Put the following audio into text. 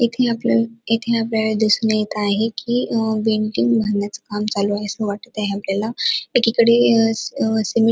इथ आपल्याला इथे आपल्याला दिसून येत आहे की अ बँकिंग भरण्याच काम चालू आहे अस वाटत आहे आपल्याला एकीकडे सिमेंट --